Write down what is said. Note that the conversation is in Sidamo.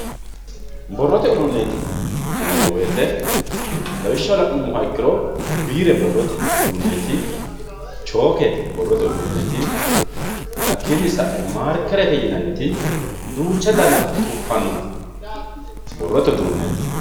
borrote uduunneeti yineemmo woyiite lawishshaho la'nummoha ikkiro biire borrote uduunneeti chooke borrote uduunneeti hakkiinni sa'e maarkerete yinanniti duucha dana tuffaannoti borrote uduunneeti.